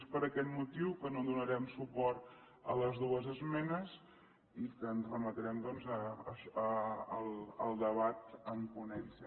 és per aquest motiu que no donarem suport a les dues esmenes i que ens remetrem doncs al debat en ponència